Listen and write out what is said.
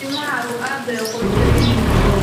Timahaagu aad bay u qurux badan yihiin.